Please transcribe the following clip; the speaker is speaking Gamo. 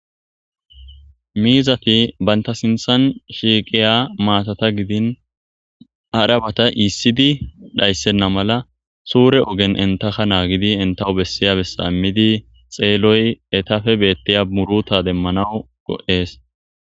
Mizati banita sinithan shiqiya matata gidini harabata issidi dhayisena mala sure oge intaka initawu besya besa imidi xeloy etape beteya muruta demanawu go'es